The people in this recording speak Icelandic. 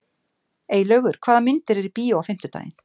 Eylaugur, hvaða myndir eru í bíó á fimmtudaginn?